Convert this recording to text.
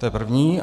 To je první.